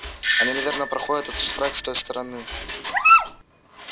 они наверно проходят этот штрек с той стороны